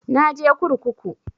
Na je kurkuku